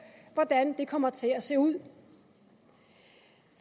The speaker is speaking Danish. hvordan det kommer til at se ud